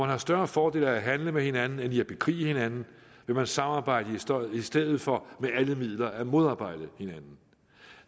har større fordel af at handle med hinanden end i at bekrige hinanden vil man samarbejde i stedet for med alle midler at modarbejde hinanden